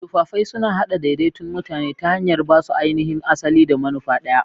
Tufafai suna haɗa daidaikun mutane ta hanyar ba su ainihin asali da manufa ɗaya.